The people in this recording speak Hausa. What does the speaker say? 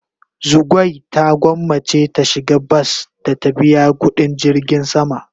Zugwai ta gwanmace ta shiga bas da ta biya kudin jirgin sama.